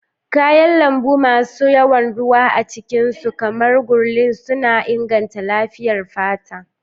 Kayan lambu masu yawan ruwa a cikin su, kamar ngurli, suna inganta lafiyar fata.